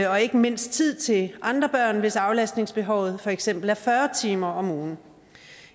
og ikke mindst tid til andre børn hvis aflastningsbehovet for eksempel er fyrre timer om ugen